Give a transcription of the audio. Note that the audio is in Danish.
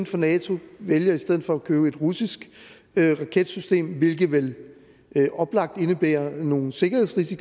for nato og vælger i stedet for at købe en russisk raketsystem hvilket vel oplagt indebærer nogle sikkerhedsrisici